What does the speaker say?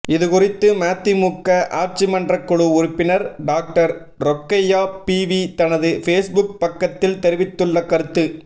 இது குறித்து மதிமுக ஆட்சிமன்றக்குழு உறுப்பினர் டாக்டர் ரொக்கையா பீவி தனது ஃபேஸ்புக் பக்கதில் தெரிவித்துள்ள கருத்து